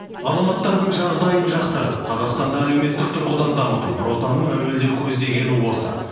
азаматтардың жағдайын жақсартып қазақстанды әлеуметтік тұрғыдан дамыту нүр отанның әуелден көздегені осы